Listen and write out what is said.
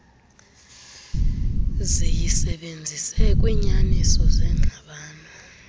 ziyisebenzise kwiinyaniso zengxabano